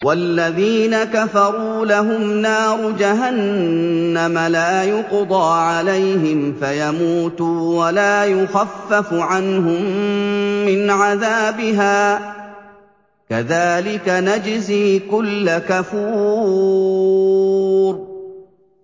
وَالَّذِينَ كَفَرُوا لَهُمْ نَارُ جَهَنَّمَ لَا يُقْضَىٰ عَلَيْهِمْ فَيَمُوتُوا وَلَا يُخَفَّفُ عَنْهُم مِّنْ عَذَابِهَا ۚ كَذَٰلِكَ نَجْزِي كُلَّ كَفُورٍ